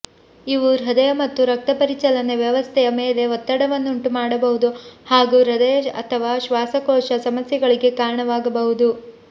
ಇವು ಹೃದಯ ಮತ್ತು ರಕ್ತ ಪರಿಚಲನೆ ವ್ಯವಸ್ಥೆಯ ಮೇಲೆ ಒತ್ತಡವನ್ನುಂಟು ಮಾಡಬಹುದು ಹಾಗೂ ಹೃದಯ ಅಥವಾ ಶ್ವಾಸಕೋಶ ಸಮಸ್ಯೆಗಳಿಗೆ ಕಾರಣವಾಗಬಹುದು